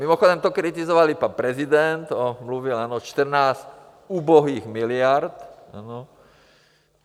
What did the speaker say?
Mimochodem to kritizoval i pan prezident, on mluvil, ano, 14 ubohých miliard.